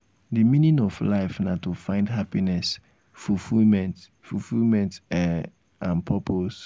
di meaning of life na to find happiness fulfillment fulfillment um and purpose. um